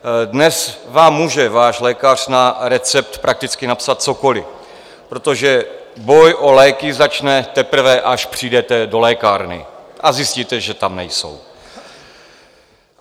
Dnes vám může váš lékař na recept prakticky napsat cokoliv, protože boj o léky začne teprve, až přijdete do lékárny a zjistíte, že tam nejsou.